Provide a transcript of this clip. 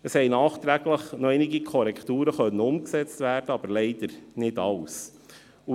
Es konnten nachträglich noch einige Korrekturen umgesetzt werden, aber leider nicht alle.